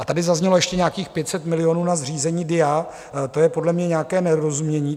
A tady zaznělo ještě nějakých 500 milionů na zřízení DIA - to je podle mě nějaké nedorozumění.